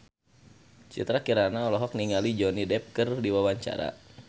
Citra Kirana olohok ningali Johnny Depp keur diwawancara